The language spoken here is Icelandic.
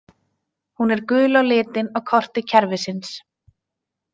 Hún er gul á litinn á korti kerfisins.